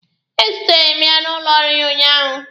Ezutere m ya n'ụlọ ọrụ ya ụnyaahụ.